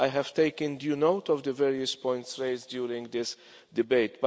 I have taken due note of the various points raised during this debate.